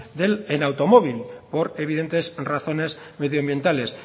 en automóvil por evidentes razones medio ambientales